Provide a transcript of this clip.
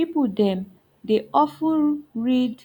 people dem dey of ten read